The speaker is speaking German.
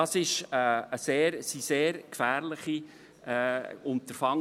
Das sind sehr gefährliche Unterfangen.